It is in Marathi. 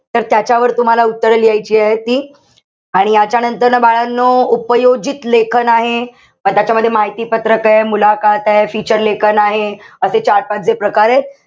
तर त्याच्यावर तुम्हाला उत्तर लिहायचीयेत ती. आणि यांच्यानंतर ना बाळांनो, उपयोजित लेखन आहे. म त्याच्यामध्ये माहिती पत्रक ए, feature लेखन आहे. असे चार-पाच जे प्रकारेत.